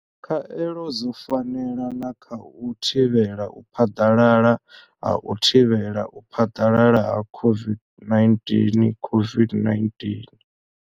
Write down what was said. Khaelo dzo fanela na kha u thivhela u phaḓalala ha u thivhela u phaḓalala ha COVID-19 COVID-19.